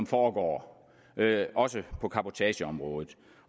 foregår også på cabotageområdet